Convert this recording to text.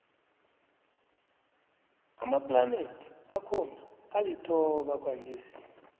amaplanethi akhona alithoba kwanjesi